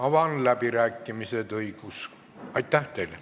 Avan läbirääkimised.